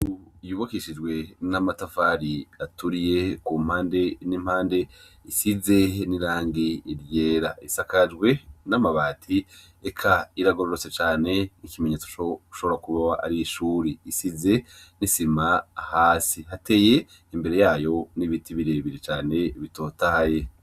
Ryubakishijwe n'amatafari aturiye, kumpande n'impande isize irangi ryera, isakajwe n'amabati eka ihagurutse cane, n'ikimenuetso cuko ar'ishuri risize isima hasi, hateye imbere yayo n'ibiti birebire cane bitotahaye.